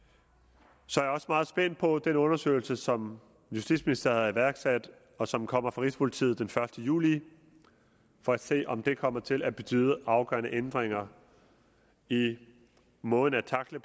så er jeg også meget spændt på at se den undersøgelse som justitsministeren har iværksat og som kommer fra rigspolitiet den første juli for at se om det kommer til at betyde afgørende ændringer i måden at tackle